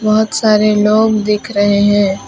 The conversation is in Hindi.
बहुत सारे लोग दिख रहे हैं।